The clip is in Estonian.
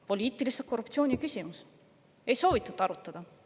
Poliitilise korruptsiooni küsimus – ei soovitud arutada.